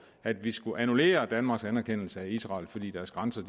at vi skulle annullere danmarks anerkendelse af israel fordi deres grænser